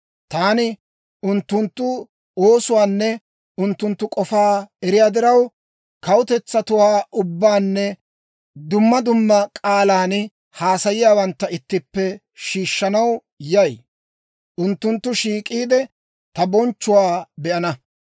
«Taani unttunttu oosuwaanne unttunttu k'ofaa eriyaa diraw, kawutetsatuwaa ubbaanne dumma dumma k'aalan haasayiyaawantta ittippe shiishshanaw yay; unttunttu shiik'iide, ta bonchchuwaa be'ana.